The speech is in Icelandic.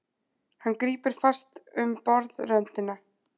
Hann grípur fast um borðröndina.